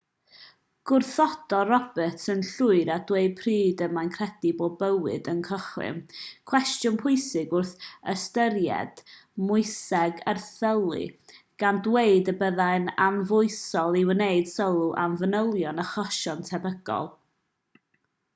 gwrthododd roberts yn llwyr â dweud pryd y mae'n credu bod bywyd yn cychwyn cwestiwn pwysig wrth ystyried moeseg erthylu gan ddweud y byddai'n anfoesol i wneud sylw ar fanylion achosion tebygol